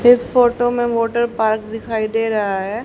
इस फोटो में water park दिखाई दे रहा है।